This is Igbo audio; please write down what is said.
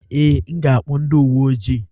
Ee, m ga-akpọ ndị uwe ojii.